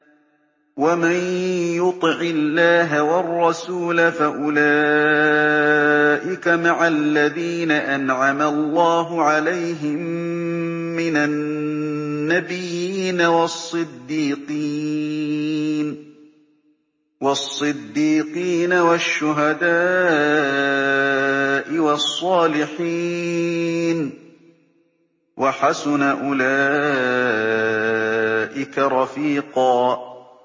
وَمَن يُطِعِ اللَّهَ وَالرَّسُولَ فَأُولَٰئِكَ مَعَ الَّذِينَ أَنْعَمَ اللَّهُ عَلَيْهِم مِّنَ النَّبِيِّينَ وَالصِّدِّيقِينَ وَالشُّهَدَاءِ وَالصَّالِحِينَ ۚ وَحَسُنَ أُولَٰئِكَ رَفِيقًا